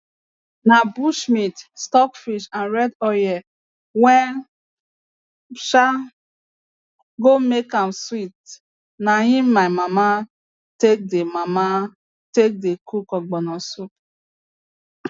na bush meat stockfish and red oil wey um go make am sweet na im my mama take dey mama take dey cook ogbono soup